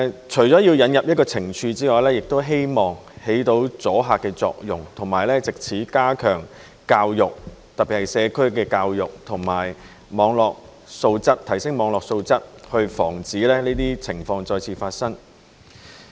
除了引入懲處外，亦希望發揮阻嚇作用，以及藉此加強教育，特別是社區的教育和提升網絡素質，防止這些情況再次發生。